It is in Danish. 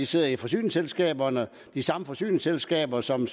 sidder i forsyningsselskaberne de samme forsyningsselskaber som